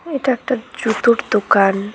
এটা একটা জুতোর দোকান।